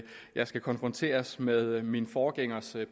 jeg skal konfronteres med min forgængers